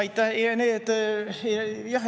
Aitäh!